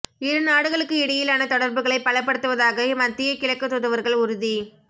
இரு நாடுகளுக்கு இடையிலான தொடர்புகளை பலப்படுத்துவதாக மத்திய கிழக்கு தூதுவர்கள் உறுதி